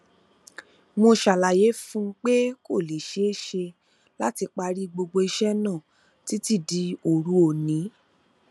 mo ṣàlàyé fún un pé kò lè ṣeé ṣe láti parí gbogbo iṣẹ náà títí di òru òní